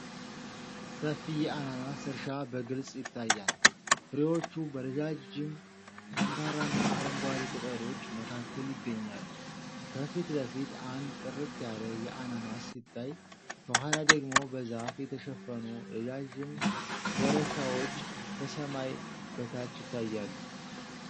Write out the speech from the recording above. ሰፊ የአናናስ እርሻ በግልጽ ይታያል። ፍሬዎቹ በረዣጅም፣ ጠንካራና አረንጓዴ ቅጠሎች መካከል ይገኛሉ። ከፊት ለፊት አንድ ጥርት ያለ የአናናስ ሲታይ፤ ከኋላ ደግሞ በዛፍ የተሸፈኑ ረዣዥም ኮረብታዎች ከሰማይ በታች ይታያሉ።